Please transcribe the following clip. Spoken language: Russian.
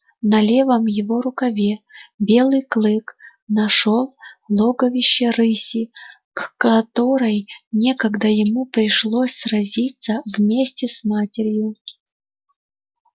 на левом его рукаве белый клык нашёл логовище рыси к которой некогда ему пришлось сразиться вместе с матерью